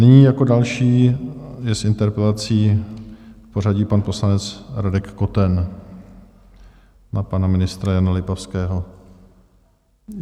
Nyní jako další je s interpelací v pořadí pan poslanec Radek Koten na pana ministra Jana Lipavského.